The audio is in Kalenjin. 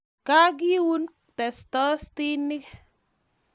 Kageun tostosinik